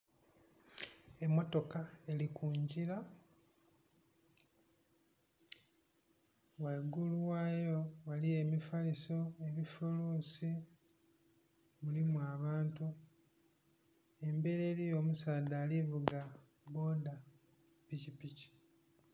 Emmotoka eli ku ngira, waigulu wayo waliyo emifaliso, ebifuluusi, mulimu abantu. Emberi eliyo omusaadha ali vuga bboda, pikipiki.